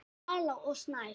Dala og Snæf.